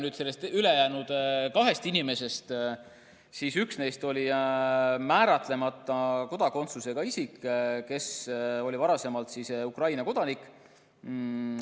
Ülejäänud kahest inimesest üks oli määratlemata kodakondsusega isik, kes oli varasemalt Ukraina kodanik.